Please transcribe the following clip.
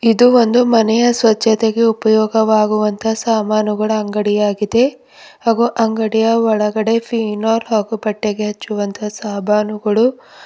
ಇದು ಒಂದು ಮನೆಯ ಸ್ವಚ್ಛತೆಗೆ ಉಪಯೋಗವಾಗುವಂತಹ ಸಾಮಾನುಗಳ ಅಂಗಡಿಯಾಗಿದೆ ಹಾಗು ಅಂಗಡಿಯ ಒಳಗಡೆ ಫೇನೋಲ್ ಹಾಗು ಬಟ್ಟೆಗೆ ಹಚ್ಚುವಂತಹ ಸಾಮಾನುಗಳು--